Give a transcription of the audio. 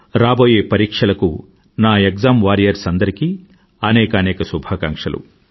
రాబోయే పరీక్షలకు నా ఎక్జామ్ వారియర్స్ అందరికీ అనేకానేక శుభాకాంక్షలు